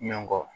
Ɲɔn kɔ